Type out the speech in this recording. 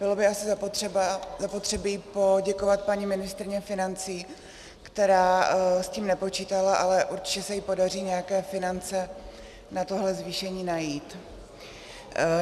Bylo by asi zapotřebí poděkovat paní ministryni financí, která s tím nepočítala, ale určitě se jí podaří nějaké finance na tohle zvýšení najít.